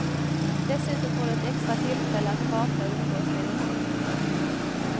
Dessutom får du ett extra tillfälle att prata och umgås med din man.